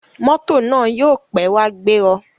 Mọ́tò náà yóò pẹ́ wá gbé ọ.